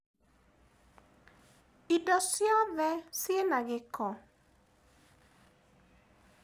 Indo ciothe ciĩna gĩko?